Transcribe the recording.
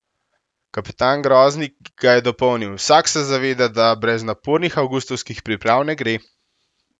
Kapetan Groznik ga je dopolnil: "Vsak se zaveda, da brez napornih avgustovskih priprav ne gre.